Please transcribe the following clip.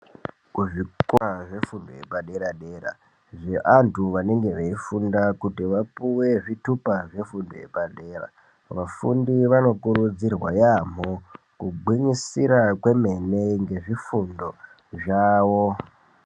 Kuzvikora zvefundo yepadera dera zvevantu vanenge veifunda kuti vapiwe zvitupa zvefundo yepadera, vafundi vanokurudzirwa yambo kugumisira komene nezvifundo zvavo.